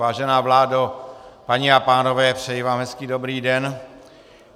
Vážená vládo, paní a pánové, přeji vám hezký dobrý den.